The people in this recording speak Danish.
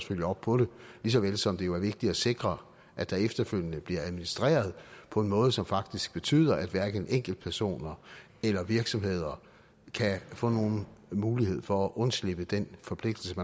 følge op på det lige så vel som det jo er vigtigt at sikre at der efterfølgende bliver administreret på en måde som faktisk betyder at hverken enkeltpersoner eller virksomheder kan få nogen mulighed for at undslippe den forpligtelse